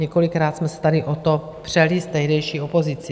Několikrát jsme se tady o to přeli s tehdejší opozicí.